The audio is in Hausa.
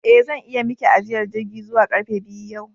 Eh zan iya Miki ajiyar jirgi zuwa karfe biyu yau